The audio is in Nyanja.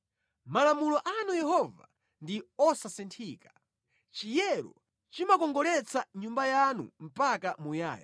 Malamulo anu Yehova ndi osasinthika; chiyero chimakongoletsa nyumba yanu mpaka muyaya.